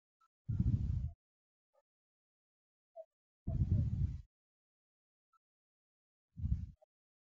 Ka ho kenya tshebetsong tokelo ena ya motheo, Letsholo la Tshusumetso ya Mesebetsi ya Mopresidente e nehela ka kabelo e qaqileng ho aheng setjhaba se sebetsang.